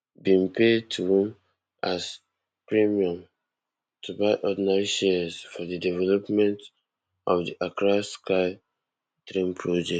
bin pay twom as premium to buy ordinary shares for di development of di accra sky train project